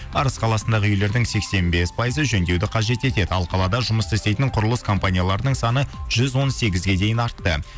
арыс қаласындағы үйлердің сексен бес пайызы жөндеуді қажет етеді ал қалада жұмыс істейтін құрылыс компанияларының саны жүз он сегізге дейін артты